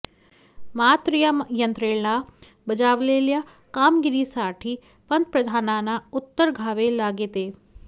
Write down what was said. मात्र या यंत्रणेला बजावलेल्या कामगिरीसाठी पंतप्रधानांना उत्तर द्यावे लागेते